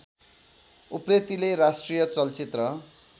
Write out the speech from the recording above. उप्रेतिले राष्ट्रिय चलचित्र